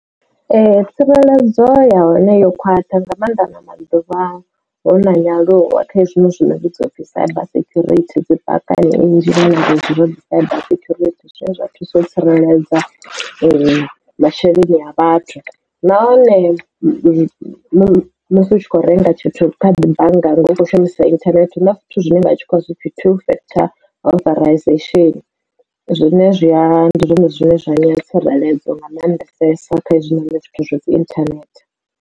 Tsireledzo ya hone yo khwaṱha nga mannḓa na maḓuvha hu na nyaluwo kha hezwi zwi no vhidzwa upfhi cyber security dzi phakhani nnzhi na nga dzi vha dzi cyber security zwine zwa thusa u tsireledza masheleni a vhathu nahone musi u tshi kho renga tshithu kha bannga ukho shumisa internet huna zwithu zwine vha khou pfi two factor authentication zwine zwiya ndi zwone zwine zwa anya tsireledzo nga mannḓesesa kha izwi noni zwithu zwa dzi internet.